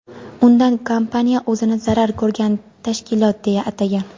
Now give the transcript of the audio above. Unda kompaniya o‘zini zarar ko‘rgan tashkilot deya atagan.